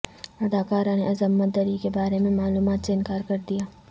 اداکار نے عصمت دری کے بارے میں معلومات سے انکار کر دیا